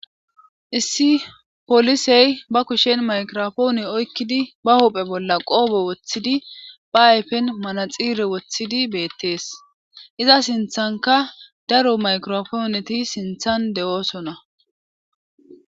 issi polisey ba kushen maykirofoone oykkidi ba hopphe bolla qoobe woththidi ba ayfen manaxiire woththidi beettees iza sinthanka daro maykirofooneti sinthan de'oosona